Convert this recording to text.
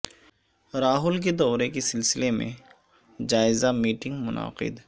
راہل کے دورہ کے سلسلے میں جائزہ میٹنگ منعقد